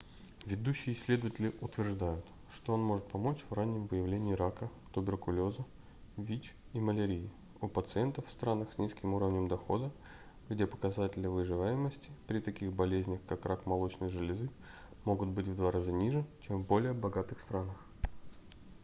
ведущие исследователи утверждают что он может помочь в раннем выявлении рака туберкулеза вич и малярии у пациентов в странах с низким уровнем дохода где показатели выживаемости при таких болезнях как рак молочной железы могут быть в два раза ниже чем в более богатых странах